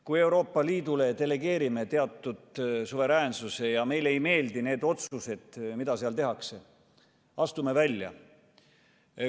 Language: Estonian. Kui Euroopa Liidule delegeerime teatud suveräänsuse ja meile ei meeldi need otsused, mida seal tehakse – astume välja.